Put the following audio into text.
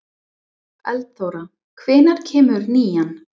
Eldþóra, hvenær kemur nían?